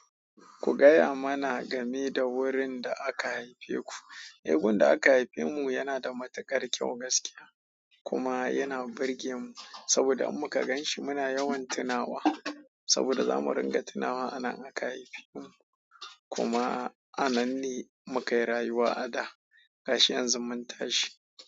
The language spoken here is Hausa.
Ku gaya mana game da wurin da aka haife ku. Ae gun da aka haife mu yana da matuƙar ƙyau gaskiya kuma yana burge mu saboda in muka ganshi muna yawan tunawa saboda zamu ringa tunawa anan aka haife mu kuma ananne muka yi rayuwa a da gashi yanzu mun tashi.